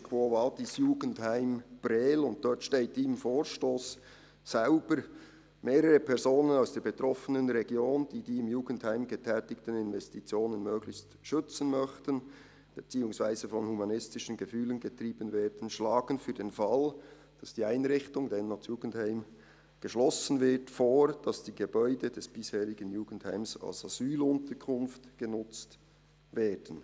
Der Titel ist «Quo vadis, Jugendheim Prêles?» , und dort steht im Vorstoss selbst: «Mehrere Personen aus der betroffenen Region, die die im Jugendheim getätigten Investitionen möglichst schützen möchten bzw. von humanistischen Gefühlen getrieben werden, schlagen für den Fall, dass die Einrichtung» – damals noch das Jugendheim – «geschlossen wird, vor, dass die Gebäude des bisherigen Jugendheims als Asylunterkunft genutzt werden.